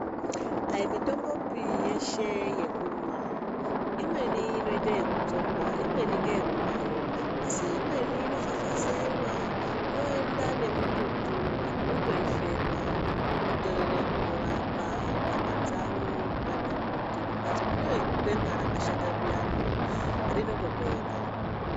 Hai mitombopi yeshe yekumwa. Imweni inoite ekudzorwa, imweni ngeyekumwayo asi imweni inofafazeiwa yoenda nemututu anhu otoifema kutore kutorapa nyama dzawo kana kuti mumhatso mune gwema rakashata zviyani rinotopera.